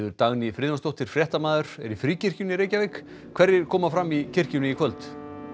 Dagný Friðjónsdóttir fréttamaður er í Fríkirkjunni í Reykjavík hverjir koma fram í kirkjunni í kvöld